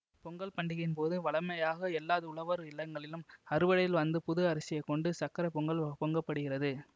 பொங்கல் பண்டிகையின் போது வழமையாக எல்லா உழவர் இல்லங்களிலும் அறுவடையில் வந்த புது அரிசியைக் கொண்டு சர்க்கரை பொங்கல் பொங்க படுகிறது